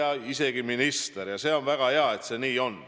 Saab isegi minister, ja see on väga hea, et see nii on.